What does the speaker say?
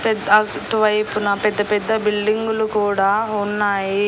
పెద్ అటువైపున పెద్ద పెద్ద బిల్డింగులు కూడా ఉన్నాయి.